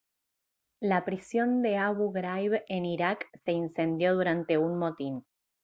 la prisión de abu ghraib en irak se incendió durante un motín